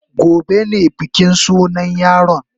Gobe ne bikin sunan yaron.